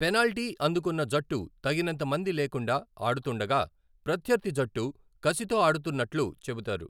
Penalty అందుకున్న జట్టు తగినంత మంది లేకుండా ఆడుతుండగా, ప్రత్యర్థి జట్టు కసితో ఆడుతున్నట్లు చెబుతారు.